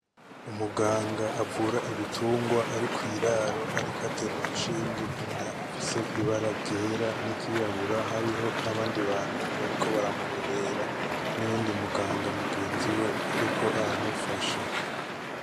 Umuganga avura ibitungwa ari kw'iraro ariko atera urushinge inka ifise ibara ryera n'iryirabura hariho n'abandi bantu bariko baramurorera n'uyundi muganga mugenzi we ariko aramufasha.